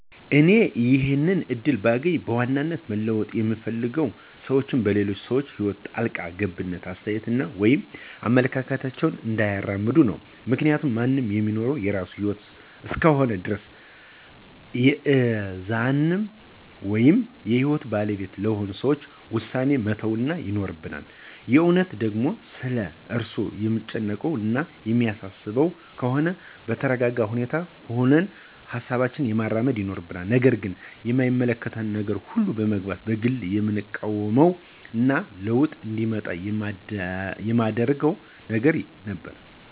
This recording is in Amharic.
እኔ ይሄንን እድል ባገኝ በዋናነት መለወጥ ምፈልገው ሰዎች በሌሎች ሰዎች ህይወት ጣልቃ ገብተው አስተያየት ወይም አመለካከታቸውን እንዳያራምዱ ነው። ምክንያቱም ማንም ሚኖረው የራሱን ህይወት እስከሆነ ድረስ የእነዛን ወይም የህይወቱ ባለቤት ለሆኑት ሰዎች ዉሳኔዉን መተው ይኖርብናል። የእውነትም ደግሞ ስለ እነርሱ የምንጨነቅ እና የሚያሳስበን ከሆነም በተረጋጋ ሁኔታ ሁነን ሀሳባችንን ማራመድ ይኖርብናል። ነገር ግን በማይመለከተን ሁሉ ነገር መግባትን በግሌ የምቃወመው እና ለዉጥ እንዲመጣ የማደርገው ነገር ነበር።